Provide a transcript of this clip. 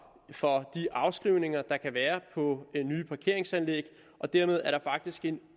for de afskrivninger der kan være på nye parkeringsanlæg og dermed er der faktisk en